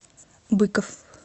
быков